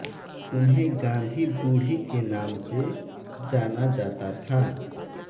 उन्हें गाँधी बुढ़ी के नाम से जाना जाता था